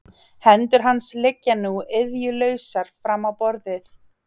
Hendur hans liggja nú iðjulausar fram á borðið.